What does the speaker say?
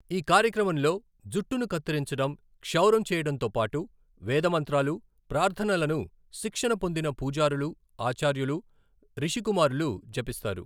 ఈ కార్యక్రమంలో, జుట్టును కత్తిరించడం, క్షౌరం చేయడంతో పాటు, వేద మంత్రాలు, ప్రార్థనలను శిక్షణ పొందిన పూజారులు, ఆచార్యులు, రిషికుమారులు జపిస్తారు.